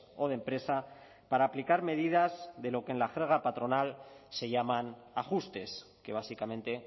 o de empresa para aplicar medidas de lo que en la jerga patronal se llaman ajustes que básicamente